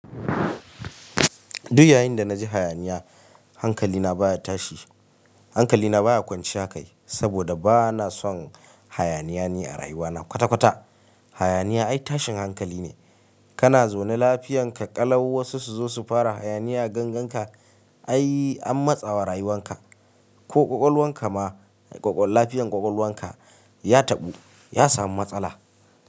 Duk yayin da na ji hayaniya hankali na baya tashi. Hankali na baya kwanciya kai saboda ba na son hayaniya ni a rayuwa na kwata-kwata. Hayaniya ai tashin hankali ne. Kana zaune lafiyanka, ƙalau wasu su zo su fara hayaniya a ganganka. Ai an matsawa rayuwan ka ko ƙwaƙwalwan ka ma, lafiyan ƙwaƙwalwan ka ya taɓu, ya samu matsala.